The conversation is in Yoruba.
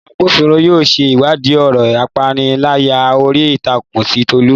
Àwọn agbófinró yóò ṣe ìwádìí ọ̀rọ̀ ìpániláyà orí ìtàkùn ti Tolu